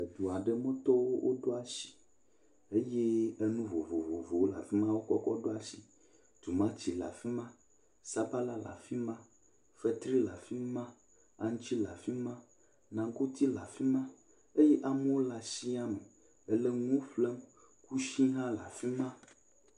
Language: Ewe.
Edu aɖemetɔwo woɖo asi eye enu vovovowo le afi ma wokɔkɔ ɖo asi. Tumati le afi ma, sabala le afi ma, fetri le afi ma, aŋtsi le afi ma, nagoti le afi ma eye amewo le asia me ele nu ƒlem. Kusi hã le afi ma.